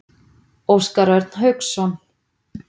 Óskar Örn Hauksson.